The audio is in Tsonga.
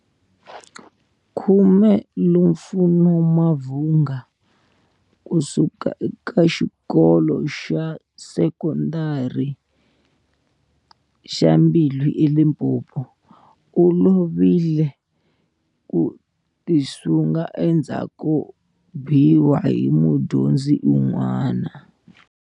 10 Lufuno Mavhunga, kusuka eka Xikolo xa Sekonda ri xa Mbilwi eLimpopo, u lovi le hi ku tisunga endzhaku ko biwa hi mudyondzi un'wana.